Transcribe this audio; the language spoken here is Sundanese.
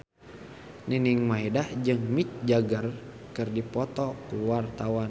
Nining Meida jeung Mick Jagger keur dipoto ku wartawan